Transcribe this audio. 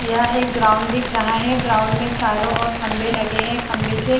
यहाँ एक ग्राउंड दिख रहा है ग्राउंड में चारों ओर खंबे लगे है खंबे से --